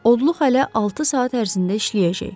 Odluq hələ altı saat ərzində işləyəcək.